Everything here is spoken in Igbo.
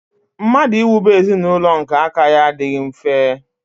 Mmadụ iwube ezinaụlọ nke aka ya adịghị mfe.